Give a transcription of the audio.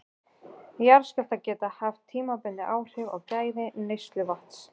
Jarðskjálftar geta haft tímabundin áhrif á gæði neysluvatns.